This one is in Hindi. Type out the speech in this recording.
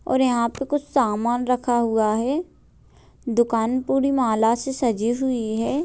और यहाँ पे कुछ सामान रखा हुआ है दुकान पूरी माला से सजी हुई है।